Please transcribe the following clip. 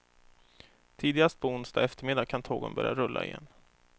Tidigast på onsdag eftermiddag kan tågen börja rulla igen.